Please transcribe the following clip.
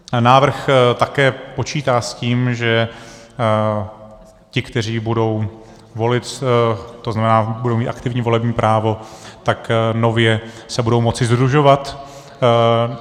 Návrh také počítá s tím, že ti, kteří budou volit, to znamená, budou mít aktivní volební právo, tak nově se budou moci sdružovat.